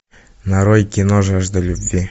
нарой кино жажда любви